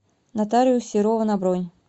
нотариус серова на бронь